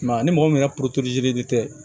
ni mɔgɔ min yɛrɛ tɛ